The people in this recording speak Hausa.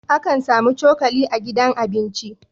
Akan samu cokali a gidan abinci